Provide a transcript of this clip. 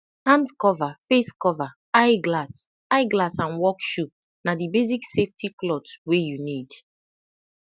hand cover face cover eye glass eye glass and work shoe na the basic safety cloth wey you need